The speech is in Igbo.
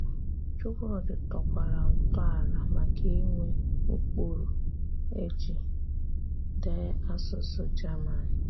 Chúkwúdị̀ tọ̀kwara ntọ̀àlà maka ịnwe ụ́kpụrụ e jì dèé àsụ̀sụ̀ German.